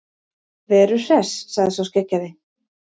Veru Hress, sagði sá skeggjaði.